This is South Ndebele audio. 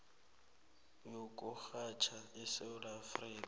yokurhatjha esewula afrika